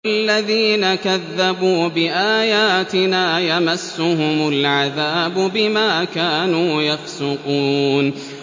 وَالَّذِينَ كَذَّبُوا بِآيَاتِنَا يَمَسُّهُمُ الْعَذَابُ بِمَا كَانُوا يَفْسُقُونَ